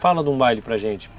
Fala de um baile para gente.